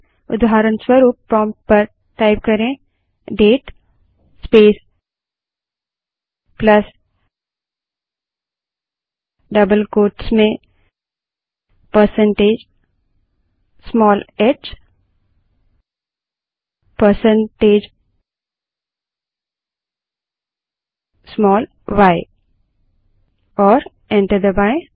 उदाहरणस्वरूप प्रोंप्ट पर date space plus double quotes में percentage small h percentage small y type करें और एंटर दबायें